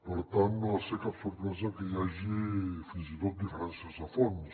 per tant no ha de ser cap sorpresa que hi hagi fins i tot diferències de fons